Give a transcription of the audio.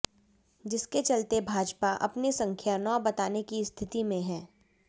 जिसके चलते भाजपा अपनी संख्या नौ बताने की स्थिति में है